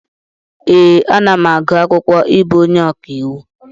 Ee, anam agụ akwụkwọ ịbụ onye ọkàiwu.